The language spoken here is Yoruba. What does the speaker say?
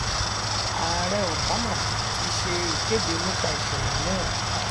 ààrẹ obama ti ṣe ìkéde nípà ìṣẹlẹ náà